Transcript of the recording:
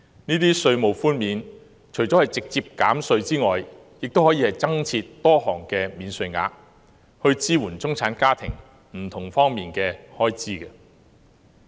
這些稅務寬免除了可包括直接減稅外，亦可透過增設多項免稅額支援中產家庭在不同方面的開支。